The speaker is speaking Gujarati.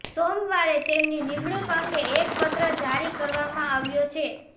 સોમવારે તેમની નિમણૂક અંગે એક પત્ર જારી કરવામાં આવ્યો છે